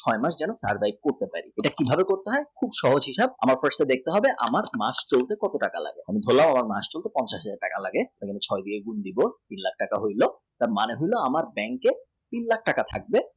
হয় নি তার দায়িত্বে করবেন এটা কী ভাবে করবেন খুব সহজ হিসাব আমার first দেখতে হবে আমার মাস চলতে কত টাকা লাগে ধরুন এই মাসটি তে পঞ্চাশ টাকা লাগে ছয় দিয়ে গুণ দিয়ে তীন লাখ টাকা হয়ে যায় মানে আমার bank এ তিন লাখ টাকা থাকলে